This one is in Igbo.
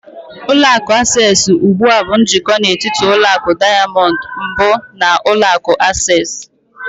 Ụlọ akụ Access ugbu a bụ njikọ n'etiti ụlọ akụ Diamond mbụ na ulọ akụ Access.